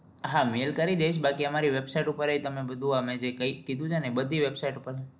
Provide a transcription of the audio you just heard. હા mail કરી દઈસ બાકી અમારી website ઉપર એ તમને બધું અમે જે કઈ કીધું તે બધી website ઉપર